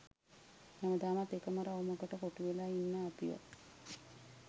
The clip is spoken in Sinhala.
හැමදාමත් එකම රවුමකට කොටු වෙලා ඉන්න අපිව